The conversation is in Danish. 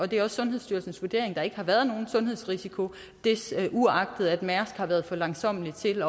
det er sundhedsstyrelsens vurdering at der ikke har været nogen sundhedsrisiko uagtet at mærsk har været for langsommelige til